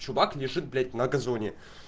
чувак лежит блять на газоне